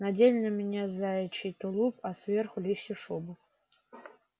надели на меня заячий тулуп а сверху лисью шубу